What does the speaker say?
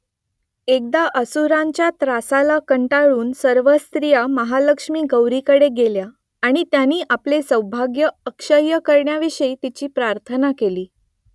एकदा असुरांच्या त्रासाला कंटाळून सर्व स्त्रिया महालक्ष्मी गौरीकडे गेल्या आणि त्यांनी आपले सौभाग्य अक्षय्य करण्याविषयी तिची प्रार्थना केली